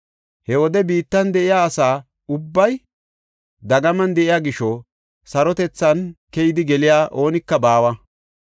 He wode biittan de7iya asa ubbay dagaman de7iya gisho sarotethan keyidi geliya oonika baawa.